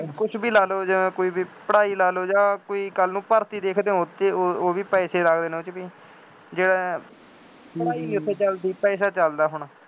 ਕੁੱਛ ਵੀ ਲਾ ਲਉ ਜਿਵੇਂ ਕੋਈ ਵੀ ਪੜ੍ਹਾਈ ਲਾ ਲਉ ਜਾਂ ਕੋਈ ਕੱਲ੍ਹ ਨੂੰ ਭਰਤੀ ਦੇਖਦੇ ਹੋ ਅਤੇ ਉਹ ਉਹ ਵੀ ਪੈਸੇ ਲੱਗਦੇ ਨੇ ਉਹ ਚ ਵੀ, ਜਿਵੇਂ ਪੜ੍ਹਾਈ ਕਿੱਥੇ ਚੱਲਦੀ, ਪੈਸਾ ਚੱਲਦਾ